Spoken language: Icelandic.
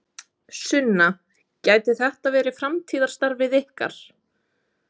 Sunna: Gæti þetta verið framtíðarstarfið ykkar?